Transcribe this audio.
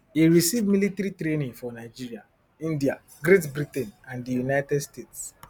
e receive military training for nigeria india great britain and di united states